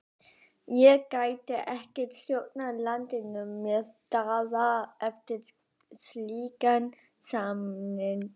Ég gæti ekki stjórnað landinu með Daða eftir slíkan samning.